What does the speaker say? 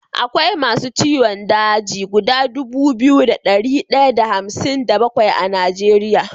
Akwai masu ciwon daji guda Dubu biyu da dari daya da hamsin da bakwai a nigeria